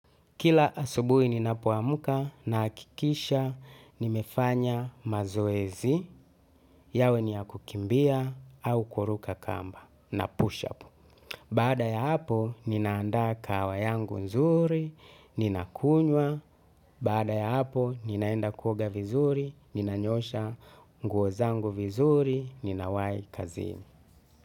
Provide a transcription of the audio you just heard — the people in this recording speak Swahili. Kila asubuhi ninapoamuka naakikisha, nimefanya mazoezi, yawe niya kukimbia au kuruka kamba, na push up. Baada ya hapo, ninaandaa kawa yangu nzuri, ninakunywa, baada ya hapo, ninaenda kuga vizuri, ninanyosha nguo zangu vizuri, ninawai kazini.